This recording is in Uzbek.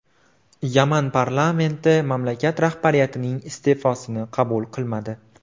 Yaman parlamenti mamlakat rahbariyatining iste’fosini qabul qilmadi.